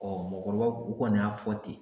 mɔgɔkɔrɔbaw u kɔni y'a fɔ ten.